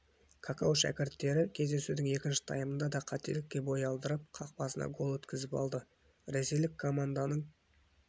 какау шәкірттері кездесудің екінші таймында тағы да қателікке бой алдырып қақпасына гол өткізіп алды ресейлік комнданың